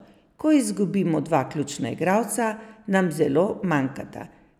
Ko izgubimo dva ključna igralca, nam zelo manjkata.